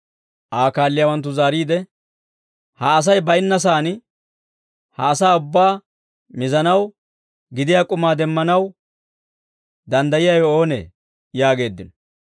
Aa kaalliyaawanttu zaariide, «Ha Asay bayinna saan ha asaa ubbaa mizanaw gidiyaa k'umaa demmanaw danddayiyaawe oonee?» yaageeddino.